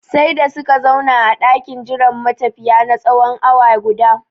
Sai da suka zauna a ɗakin jiran matafiya na tsawon awa guda